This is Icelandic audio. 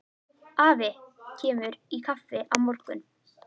Afi kemur í kaffi á morgun.